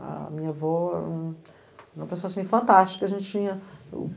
A minha avó era uma pessoa, assim, fantástica, a gente tinha